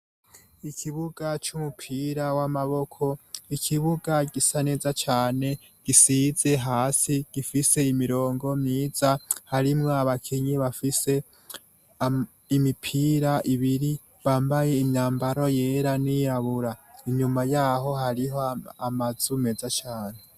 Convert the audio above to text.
Ikibuga c'umupira w'amaboko ikibuga gisa neza cane gisize hasi gifise imirongo miza harimwo abakinyi bafise imipira ibiri bambaye imyambaro yera n'iyabura inyuma yaho hariho amazu meza cane.